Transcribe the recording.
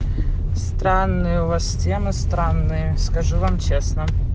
странные у вас стены странные скажу вам честно